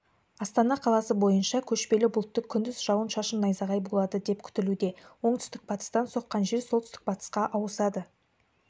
-астана қаласы бойынша көшпелі бұлтты күндіз жауын-шашын найзағай болады деп күтілуде оңтүстік-батыстан соққан жел солтүстік-батысқа ауысады